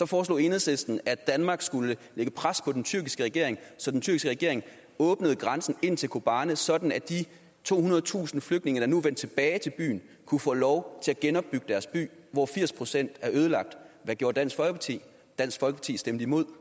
foreslog enhedslisten at danmark skulle lægge pres på den tyrkiske regering så den tyrkiske regering åbnede grænsen ind til kobane sådan at de tohundredetusind flygtninge der nu er vendt tilbage til byen kunne få lov til at genopbygge deres by hvor firs procent er ødelagt hvad gjorde dansk folkeparti dansk folkeparti stemte imod